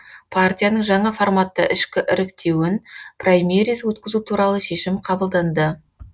партияның жаңа форматта ішкі іріктеуін праймериз өткізу туралы шешім қабылданды